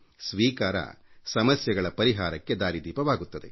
ಸ್ವೀಕಾರ ಸಮಸ್ಯೆಗಳ ಪರಿಹಾರಕ್ಕೆ ದಾರಿದೀಪವಾಗುತ್ತದೆ